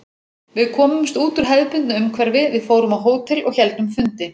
Við komumst út úr hefðbundnu umhverfi, við fórum á hótel og héldum fundi.